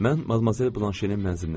Mən Madmazel Blanşenin mənzilinə girdim.